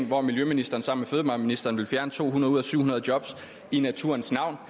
hvor miljøministeren sammen med fødevareministeren vil fjerne to hundrede ud af syv hundrede jobs i naturens navn